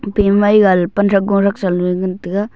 pi mai ga pan thak gorak sa lo a ngan tai ga.